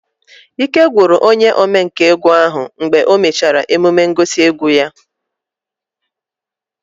Ike gwụrụ onye omenkà egwu ahu mgbe o mechara emume ngosi egwu ya